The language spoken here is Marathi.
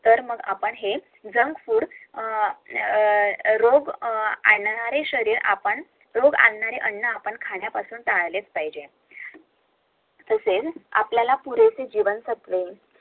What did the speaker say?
तर मग हे आपण JUNK FOOD आ आ रोग आणणारे अन्न आपण खायला टाळले पाहिजे